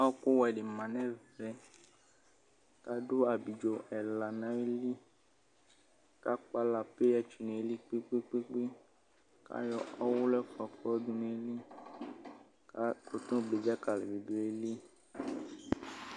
Ɔkʋ wɛ dɩ ma nɛvɛkadʋ abidzo ɛla nayilɩ kakpala peya tsoe nayɩlɩ kpekpekpe kayɔ ɔwulʋ ɛfua kayɔdʋ nayɩlɩ kadʋ dzakalɩ nayɩlɩ